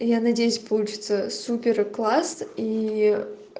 я надеюсь получится суперкласс и